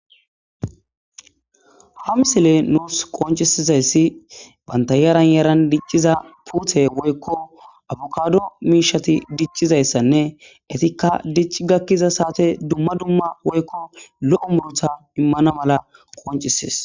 ha misile nuus qoncisizayssi bantayaran yaran dicciza puuthe woykko abukado miishati dicchizayssanne etikka dici gakkiza saate dumma dumma woykko lo7o murutha immana mala qoncisees